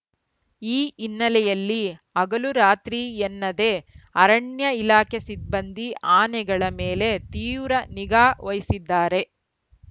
ಈ ಹಿನ್ನೆಲೆಯಲ್ಲಿ ಹಗಲುರಾತ್ರಿಯೆನ್ನದೇ ಅರಣ್ಯ ಇಲಾಖೆ ಸಿಬ್ಬಂದಿ ಆನೆಗಳ ಮೇಲೆ ತೀವ್ರ ನಿಗಾ ವಹಿಸಿದ್ದಾರೆ